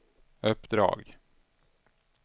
uppdrag